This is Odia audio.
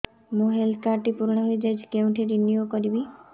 ମୋ ହେଲ୍ଥ କାର୍ଡ ଟି ପୁରୁଣା ହେଇଯାଇଛି କେଉଁଠି ରିନିଉ କରିବି